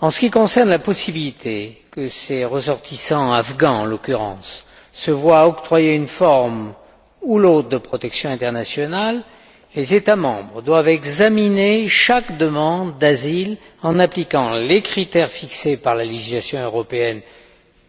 En ce qui concerne la possibilité que ces ressortissants, afghans en l'occurrence, se voient octroyer une forme ou l'autre de protection internationale, les États membres doivent examiner chaque demande d'asile en appliquant les critères fixés par la législation européenne